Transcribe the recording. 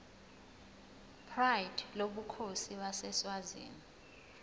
pride lobukhosi baseswazini